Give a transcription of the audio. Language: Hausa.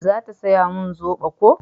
za ta saya min zobo ko?